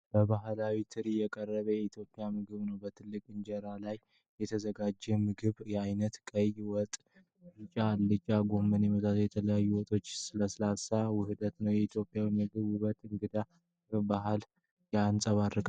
በባህላዊ ትሪ የቀረበው የኢትዮጵያ ምግብ ነው። በትልቅ እንጀራ ላይ የተዘጋጀው የምግብ አይነት፤ ቀይ ወጥ፣ ቢጫ አልጫና ጎመንን የመሳሰሉ የተለያዩ የወጦችና ሰላጣዎች ውህድ ነው። የኢትዮጵያዊ ምግቦችን ውበትና የእንግዳ ተቀባይነት ባህልን ያንጸባርቃል።